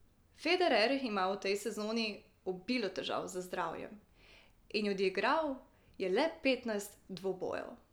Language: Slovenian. Federer ima v tej sezoni obilo težav z zdravjem in je odigral le petnajst dvobojev.